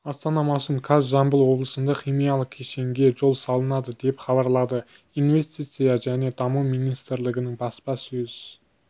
астана маусым қаз жамбыл облысында химиялық кешенге жол салынады деп хабарлады инвестиция және даму министрлігінің баспасөз